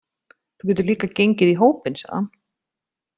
Þú getur líka gengið í hópinn, sagði hann.